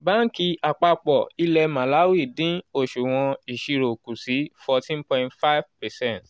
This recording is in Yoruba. banki àpapọ̀ ilẹ̀ màláwì dín oṣuwọn iṣiro kù sí 14.5 percent